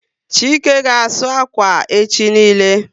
Chike ga asụ akwa echi niile